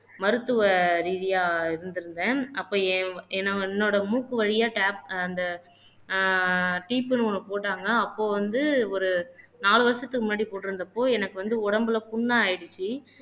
மருத்துவ ரீதியா இருந்திருந்தேன் அப்ப என் என்னோட மூக்கு வழியா டேப் அந்த ஆஹ் ஒண்ணு போட்டாங்க அப்போ வந்து ஒரு நாலு வருஷத்துக்கு முன்னாடி போட்டிருந்தப்போ எனக்கு வந்து உடம்புல புண்ணா ஆயிடுச்சு